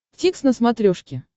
дтикс на смотрешке